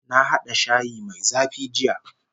Na hada shayi mai zafi jiya